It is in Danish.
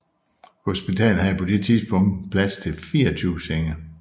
Hospitalet havde på dette tidspunkt plads til 24 senge